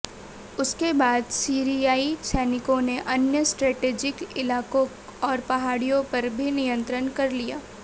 उसके बाद सीरियाई सैनिकों ने अन्य स्ट्रेटेजिक इलाकों और पहाड़ियों पर भी निंयत्रण कर लिया